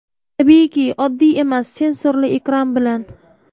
Tabiiyki oddiy emas sensorli ekran bilan.